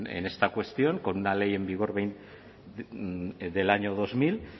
en esta cuestión con una ley en vigor del año dos mil